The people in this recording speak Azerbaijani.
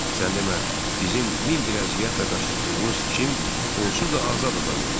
Sən demə, bizim min bir əziyyətlə qaçırtdığımız cim onsuz da azad adam imiş.